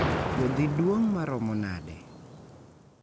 Puodhi duong' maromo nade?